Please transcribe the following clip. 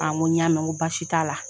An ko n y'a mɛɛn n ko baasi t'a la